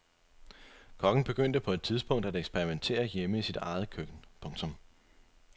Kokken begyndte på et tidspunkt at eksperimentere hjemme i sit eget køkken. punktum